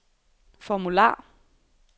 formular